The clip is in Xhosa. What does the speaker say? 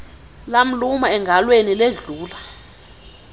lamluma engalweni ledlula